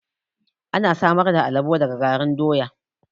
Ana samar da amala daga garin doya